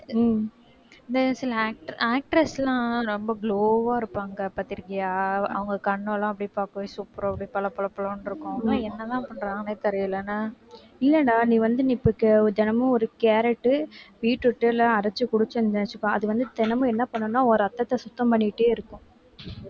இல்லடா நீ வந்து நீ இப்ப ca~ தினமும் ஒரு carrot, beetroot லாம் அரைச்சு குடிச்சிருந்தாச்சுப்பா அது வந்து தினமும் என்ன பண்ணும்னா உன் ரத்தத்தை சுத்தம் பண்ணிக்கிட்டே இருக்கும்